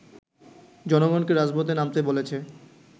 জনগণকে রাজপথে নামতে বলেছে